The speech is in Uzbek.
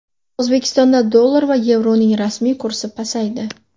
O‘zbekistonda dollar va yevroning rasmiy kursi pasaydi.